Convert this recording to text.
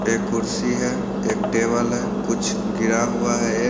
एक कुर्सी है एक टेबल है कुछ गिरा हुआ है एक--